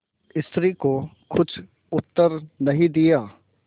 स्त्री को कुछ उत्तर नहीं दिया